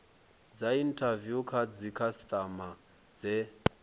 dza inthaviwu kha dzikhasitama dze